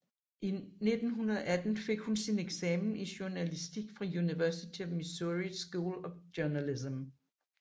I 1918 fik hun sin eksamen i journalistik fra University of Missouri School of Journalism